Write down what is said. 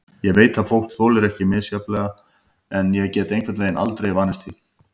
Ég veit að fólk þolir þetta misjafnlega en ég gat einhvern veginn aldrei vanist því.